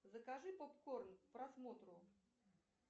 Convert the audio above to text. закажи попкорн к просмотру